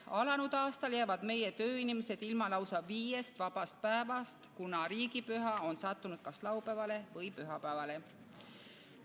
Alanud aastal jäävad meie tööinimesed ilma lausa viiest vabast päevast, kuna riigipüha on sattunud kas laupäevale või pühapäevale.